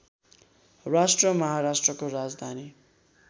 राज्य महाराष्ट्रको राजधानी